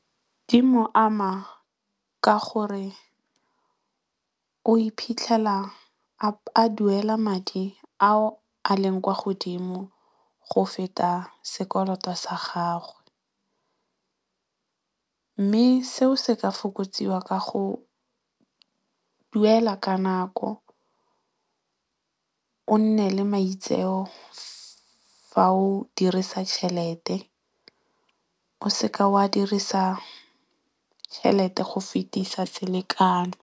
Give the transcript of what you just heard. Di mo ama ka gore o iphitlhela a duela madi ao a leng kwa godimo go feta sekoloto sa gagwe. Mme seo se ka fokotsiwa ka go duela ka nako. O nne le maitseo fa o dirisa tšhelete. O seka o a dirisa tšhelete go fetisa selekano.